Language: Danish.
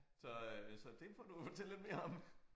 Så øh så det må du fortælle lidt mere om